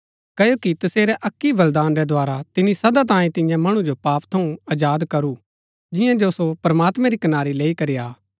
क्ओकि तसेरै अक्की ही बलिदान रै द्धारा तिनी सदा तांये तियां मणु जो पाप थऊँ आजाद करू जियां जो सो प्रमात्मैं री कनारी लैई करी आ